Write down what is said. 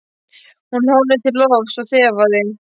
Hún horfði til lofts og þefaði.